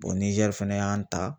Nizɛri fɛnɛ y'an ta